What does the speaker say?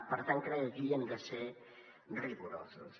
per tant crec que aquí hem de ser rigorosos